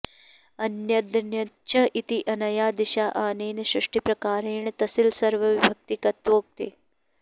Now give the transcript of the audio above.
अन्यदन्यच्च इत अनया दिशा अनेन सृष्टिप्रकारेण तसिल सर्वविभक्तिकत्वोक्ते